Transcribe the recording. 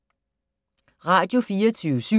Radio24syv